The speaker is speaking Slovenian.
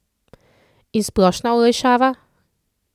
In splošna olajšava?